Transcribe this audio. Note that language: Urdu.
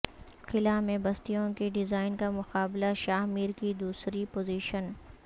خلاء میں بستیوں کے ڈیزائن کا مقابلہ شاہ میر کی دوسری پوزیشن